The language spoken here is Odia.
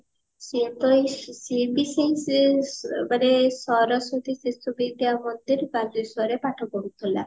ସିଏ ତ ସିଏ ବି ସେଇ ସେ ଗୋଟେ ସରସ୍ଵତୀ ଶିଶୁ ବିଦ୍ୟା ମନ୍ଦିର ବାଲେଶ୍ଵର ରେ ପାଠ ପଢୁ ଥିଲା